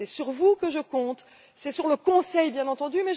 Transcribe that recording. C'est sur vous que je compte et c'est sur le Conseil, bien entendu.